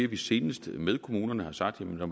vi senest med kommunerne har sagt at når